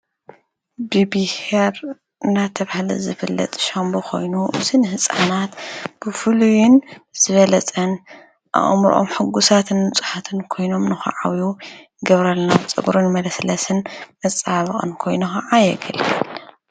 ብብሔር እና ተብሃለት ዘኮይኑ ከዓ የገልቦ ኾይኑ እስንሕፃናት ብፉሉዩን ዝበለጸን ኣቕምርኦም ሕጕሳትን ንጹሓትን ኮይኖም ንኸዓው ገብረልናዉ ጸጕርን መለስለስን መፃባቕን ኮይኑዓየገል ኢለን